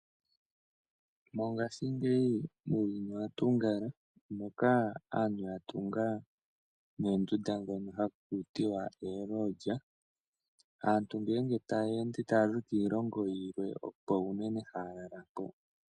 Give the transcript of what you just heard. Mongashingeyi uuyuni owa tunga moka aantu ya tunga noondunda dhoka hakuti oolodge. Aantu ngenge taya ende taya zi kiilongo yilwe, opo uunene haya lala mpoka.